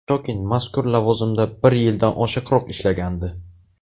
Shokin mazkur lavozimda bir yildan oshiqroq ishlagandi.